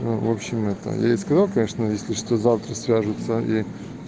ну в общем это я ей сказал конечно если что завтра свяжутся и